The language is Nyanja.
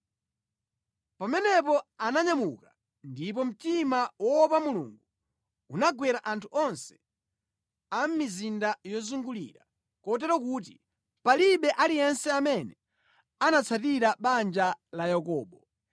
Pamenepo ananyamuka, ndipo mtima woopa Mulungu unagwera anthu onse a mʼmizinda yozungulira, kotero kuti palibe aliyense amene anatsatira banja la Yakobo.